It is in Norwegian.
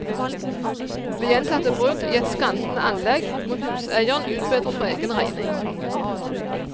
Ved gjentatte brudd i et skrantende anlegg, må huseieren utbedre for egen regning.